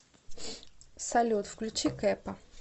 салют включи кэпа